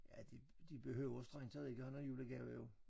Ja de de behøver strengt taget ikke at have nogen julegave jo